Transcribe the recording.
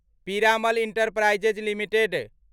Piramal enterprises limited